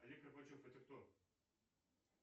олег горбачев это кто